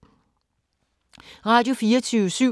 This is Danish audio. Radio24syv